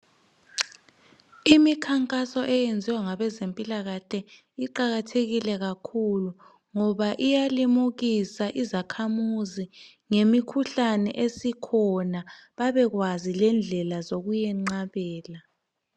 Imikhankaso eyenziwa ngabezempilakahle iqakathekile kakhulu ngoba iyalimukisa izakhamuzi ngemikhuhlane esikhona babekwazi lendlela zokuyenqabela.